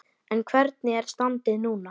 En hvernig er standið núna?